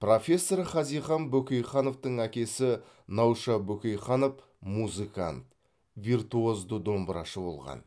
профессор хазихан бөкейхановтың әкесі науша бөкейханов музыкант виртуозды домбырашы болған